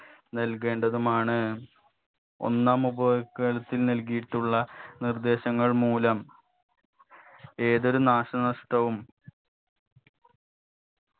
നൽകേണ്ടതുമാണ് ഒന്നാം ഉപഭോൾക്കരത്തിന് നൽകിയിട്ടുള്ള നിർദേശങ്ങൾ മൂലം ഏതൊരു നാശനഷ്ടവും